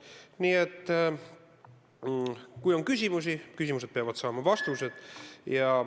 Nii et kui on küsimusi, siis need peavad saama vastused.